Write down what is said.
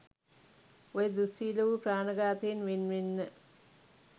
ඔය දුස්සීල වූ ප්‍රාණඝාතයෙන් වෙන්වෙන්න.